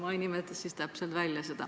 Ma ei ütlegi siis seda välja.